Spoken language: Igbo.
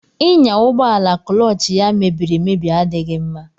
Ịnya ụgbọ ala kụlọọch ya mebiriemebi adịghị mma.